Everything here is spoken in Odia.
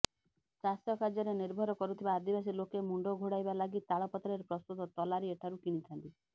ଚାଷ କାର୍ଯ୍ୟରେ ନିର୍ଭର କରୁଥିବା ଆଦିବାସୀ ଲୋକେ ମୁଣ୍ଡ ଘୋଡ଼ାଇବା ଲାଗି ତାଳପତ୍ରରେ ପ୍ରସ୍ତୁତ ତଲାରୀ ଏଠାରୁ କିଣିଥାନ୍ତି